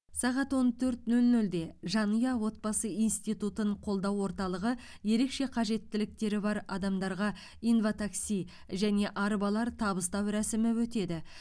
сағат он төрт нөл нөлде жанұя отбасы институтын қолдау орталығы ерекше қажеттіліктері бар адамдарға инватакси және арбалар табыстау рәсімі өтеді